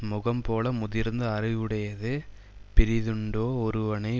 முகம்போல முதிர்ந்த அறிவுடையது பிறிதுண்டோ ஒருவனை